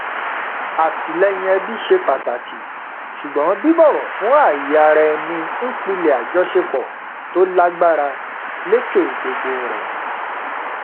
àtìlẹyìn ẹbí ṣe pàtàkì ṣùgbọn bíbọwọ fún ààyè ara ẹni n pilẹ àjọṣepọ tò lágbára lékè gbogbo rẹ